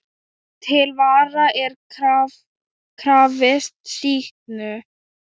Til vara er krafist sýknu.